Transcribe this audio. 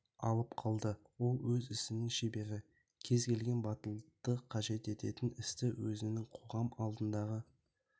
алып қалды ол өз ісінің шебері кез келген батылдықты қажет ететін істі өзінің қоғам алдындағы